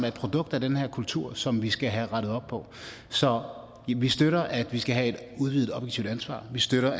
et produkt af den her kultur som vi skal have rettet op på så vi støtter at vi skal have et udvidet objektivt ansvar vi støtter